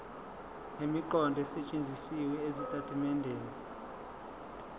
nemiqondo esetshenzisiwe ezitatimendeni